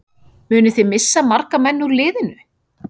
Munið þið missa marga menn úr liðinu?